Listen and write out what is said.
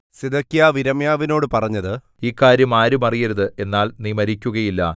സിദെക്കീയാവ് യിരെമ്യാവിനോട് പറഞ്ഞത് ഈ കാര്യം ആരും അറിയരുത് എന്നാൽ നീ മരിക്കുകയില്ല